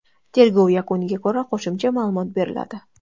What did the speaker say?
Tergov yakuniga ko‘ra qo‘shimcha ma’lumot beriladi.